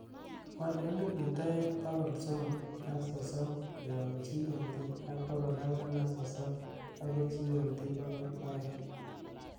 wal eliput oeng bogol somok ak sosomo koyop g.m.t ak bogol angwan ak sosom agoi g.m.t bogol oeng